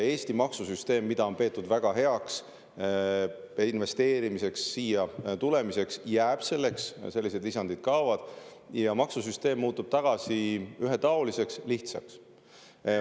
Eesti maksusüsteem, mida on pidanud väga heaks, et investeerida ja siia tulla, jääb selliseks, lisandid kaovad ning maksusüsteem muutub tagasi ühetaoliseks ja lihtsaks.